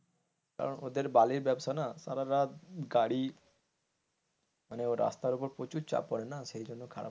কারণ ওদের বালির ব্যবসা না সারারাত গাড়ি কারণ রাস্তার উপর প্রচুর চাপ পড়ে না সেজন্য খারাপ,